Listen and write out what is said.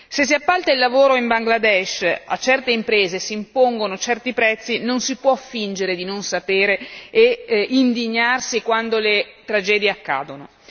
Se si appalta il lavoro in Bangladesh a certe imprese e si impongono certi prezzi, non si può fingere di non sapere e indignarsi quando le tragedie accadono.